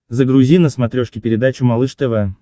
загрузи на смотрешке передачу малыш тв